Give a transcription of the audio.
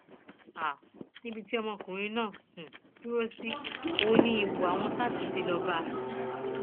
um níbi tí ọmọkùnrin náà um dùrọsí ní ọn ní ìbò àwọn sars tí lọọ bá a